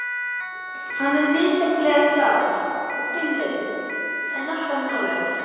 Hann er misjafnlega sár og hvimleiður, en alltaf nálægur.